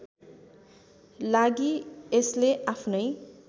लागि यसले आफ्नै